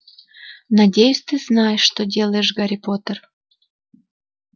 надеюсь ты знаешь что делаешь гарри поттер